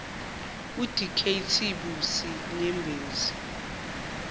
udkt busi nyembezi